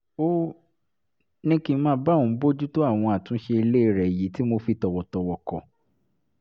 ó ní kí n máa bá òun bójútó àwọn àtúnṣe ilé rẹ̀ èyí tí mo fi tọ̀wọ̀tọ̀wọ̀ kọ̀